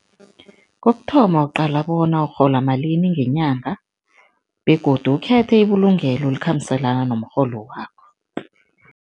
Kokuthoma, uqala bona urhola malini ngenyanga begodu ukhethe ibulungelo elikhambiselana nomrholo wakho.